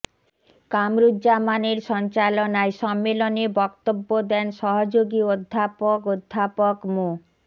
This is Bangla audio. কামরুজ্জামানের সঞ্চালনায় সম্মেলনে বক্তব্য দেন সহযোগী অধ্যাপক অধ্যাপক মো